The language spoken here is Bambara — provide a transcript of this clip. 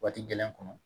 Waati gɛlɛn kɔnɔ